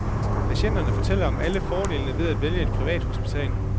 Patienterne fortæller om alle fordelene ved at vælge et privathospital.